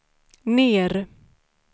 ner